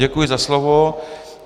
Děkuji za slovo.